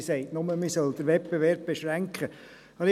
Sie sagt nur, dass man den Wettbewerb beschränken soll.